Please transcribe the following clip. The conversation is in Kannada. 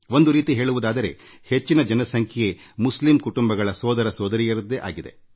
ಒಂದು ರೀತಿ ಹೇಳುವುದಾದರೆ ಇಲ್ಲಿನ ಒಟ್ಟು ಜನಸಂಖ್ಯೆಯಲ್ಲಿ ಅವರು ಬಹುಸಂಖ್ಯೆಯಲ್ಲಿ ಇದ್ದಾರೆ